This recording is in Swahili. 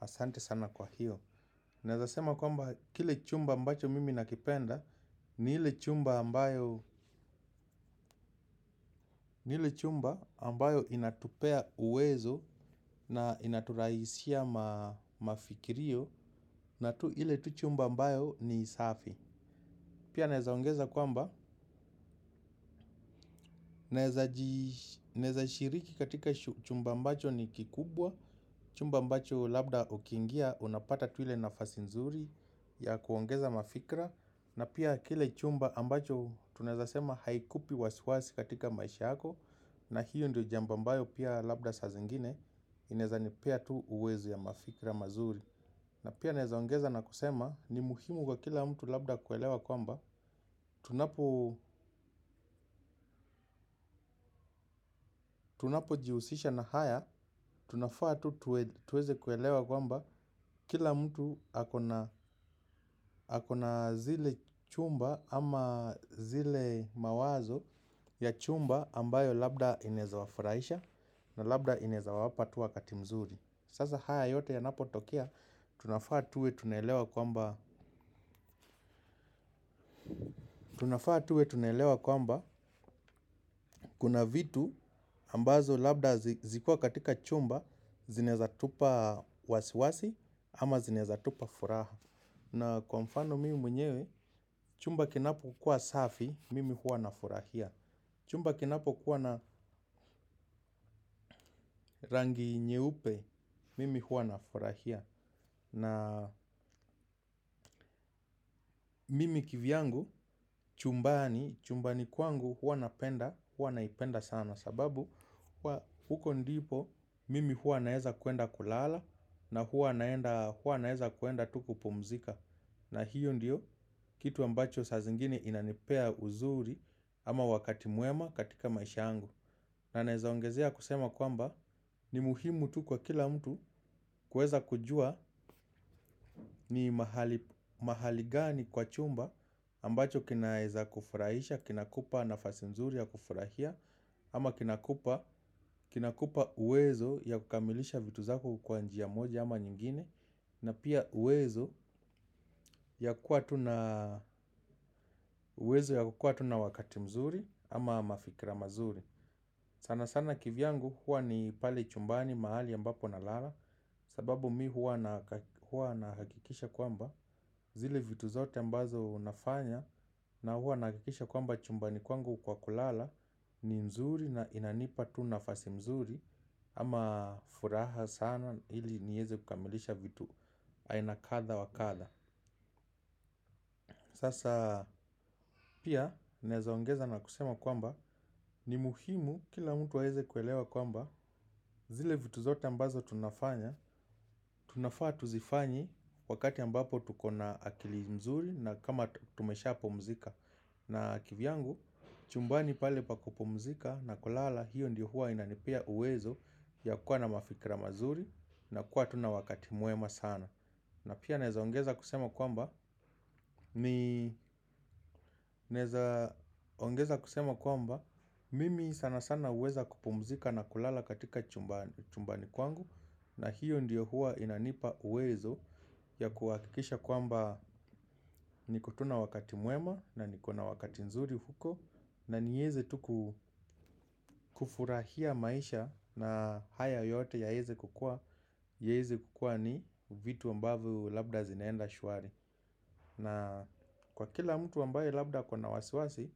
Asante sana kwa hiyo. Naeza sema kwamba kile chumba ambacho mimi nakipenda. Ni ile chumba ambayo chumba ambayo inatupea uwezo. Na inaturahisishia mafikirio. Na ile tu chumba ambayo ni safi. Pia naeza ongeza kwamba naeza shiriki katika chumba ambacho ni kikubwa. Chumba ambacho labda ukiingia unapata tu ile nafasi nzuri ya kuongeza mafikra na pia kile chumba ambacho tunaeza sema haikupi wasi wasi katika maisha yako na hiyo ndio jambo ambayo pia labda saa zingine inaeza nipea tu uwezo ya mafikra mazuri na pia naeza ongeza na kusema ni muhimu kwa kila mtu labda kuelewa kwamba tunapo jihusisha na haya tunafa tu tuweze kuelewa kwamba kila mtu akona zile chumba ama zile mawazo ya chumba ambayo labda inaeza wafurahisha. Na labda inaeza wapa tu wakati mzuri. Sasa haya yote yanapo tokea. Tunafaa tuwe tunaelewa kwamba tunafaa tuwe tunaelewa kwamba kuna vitu ambazo labda zikiwa katika chumba. Zinaeza tupa wasiwasi ama zinaeza tupa furaha. Na kwa mfano mimi mwenyewe. Chumba kinapo kuwa safi. Mimi huwa na furahia. Chumba kinapo kuwa na rangi nyeupe. Mimi huwa nafurahia. Na mimi kivyangu chumbani chumbani kwangu huwa napenda hua naipenda sana sababu huwa huko ndipo mimi hua naeza kuenda kulala. Na hua naeza kuenda tu kupumzika. Na hiyo ndio kitu ambacho sa zingine inanipea uzuri ama wakati mwema katika maisha yangu. Na naeza ongezea kusema kwamba ni muhimu tu kwa kila mtu kuweza kujua. Ni mahali gani kwa chumba ambacho kinaeza kufurahisha. Kina kupa nafasi mzuri ya kufurahia ama kina kupa uwezo ya kukamilisha vitu zako kwa njia moja ama nyingine. Na pia uwezo ya kukua tu na wakati mzuri ama mafikira mazuri. Sana sana kivyangu hua ni pale chumbani mahali ambapo na lala sababu mi huwa nahakikisha kwamba zile vitu zote ambazo nafanya na hua nahakikisha kwamba chumbani kwangu kwa kulala ni nzuri na inanipa tunafasi mzuri ama furaha sana ili nieze kukamilisha vitu aina kadha wakadha. Sasa pia naeza ongeza na kusema kwamba ni muhimu kila mtu aweze kuelewa kwamba zile vitu zote ambazo tunafanya, tunafaa tuzifanyi wakati ambapo tuko na akili nzuri na kama tumesha pumzika. Na kivyangu chumbani pale pa kupumzika na kulala hiyo ndiyo huwa inanipea uwezo ya kuwa na mafikira mazuri na kuwa tu na wakati mwema sana. Na pia naeza ongeza kusema kwamba kusema kwamba mimi sana sana huweza kupumzika na kulala katika chumbani kwangu na hiyo ndiyo huwa inanipa uwezo ya kuhakikisha kwamba niko tu na wakati mwema na niko na wakati nzuri huko na nieze tu ku kufurahia maisha na haya yote yaweze kukua ni vitu ambavo labda zinaenda shwari na kwa kila mtu ambaye labda ako na wasiwasi